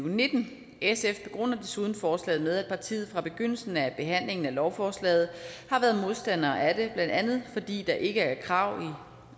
og nitten sf begrunder desuden forslaget med at partiet fra begyndelsen af behandlingen af lovforslaget har været modstandere af det blandt andet fordi der ikke er krav